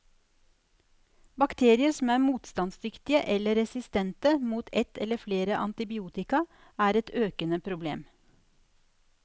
Bakterier som er motstandsdyktige, eller resistente, mot et eller flere antibiotika, er et økende problem.